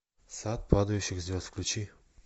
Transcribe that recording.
сад падающих звезд включи